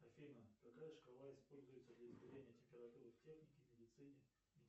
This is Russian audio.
афина какая шкала используется для измерения температуры в технике медицине